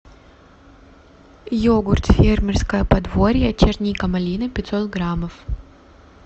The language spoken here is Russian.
йогурт фермерское подворье черника малина пятьсот граммов